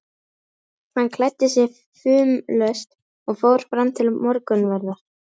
Hann klæddi sig fumlaust og fór fram til morgunverðar.